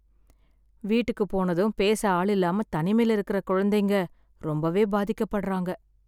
வீட்டுக்கு போனதும் பேச ஆளில்லாம தனிமைல இருக்குற குழந்தைங்க ரொம்பவே பாதிக்கப் படுறாங்க.